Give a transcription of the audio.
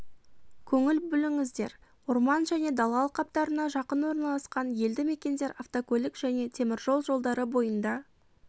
көңіл бөліңіздер орман және дала алқаптарына жақын орналасқан елді мекендер автокөлік және теміржол жолдары бойында